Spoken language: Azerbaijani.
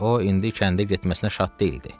O indi kəndə getməsinə şad deyildi.